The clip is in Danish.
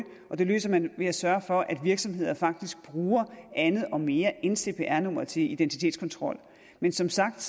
og det løser man ved at sørge for at virksomheder faktisk bruger andet og mere end cpr nummeret til identitetskontrol men som sagt